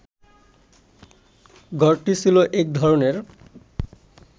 ঘরটি ছিল এক ধরনের